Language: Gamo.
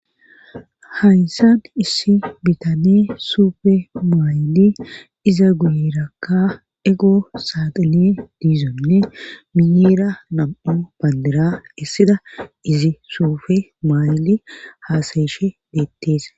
Hayssan issi bitane suufe maaydi iza guyerakka ego saaxine diizonne miyeera nam'o bandira issida izi suufe maaydi haasayeshe deettees